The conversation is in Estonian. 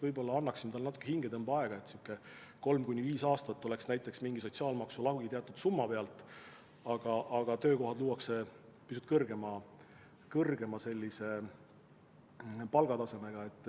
Võib-olla annaksime neile natuke hingetõmbeaega, nii et kolm kuni viis aastat oleks näiteks mingi sotsiaalmaksu lagi teatud summa pealt, aga töökohad luuakse pisut kõrgema palgatasemega.